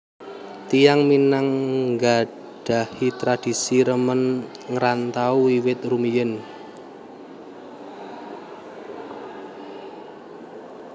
Tiyang Minang nggadhahi tradisi remen ngrantau wiwit rumiyin